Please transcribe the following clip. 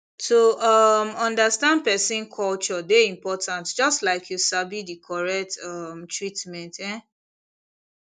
to um understand person culture dey important just like say you sabi the correct um treatment um